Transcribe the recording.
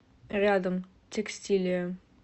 рядом текстилия